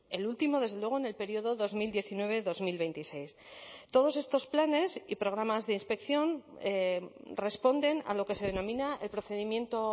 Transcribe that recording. el último desde luego en el periodo dos mil diecinueve dos mil veintiséis todos estos planes y programas de inspección responden a lo que se denomina el procedimiento